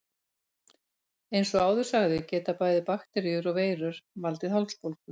Eins og áður sagði geta bæði bakteríur og veirur valdið hálsbólgu.